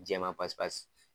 Jaman pasi pasi.